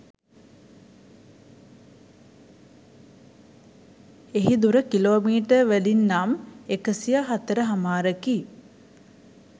එහි දුර කිලෝමීටර් වලින් නම් එකසියහතරහමාරකි